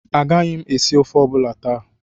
Agaghị m esi ofe ọ bụla taa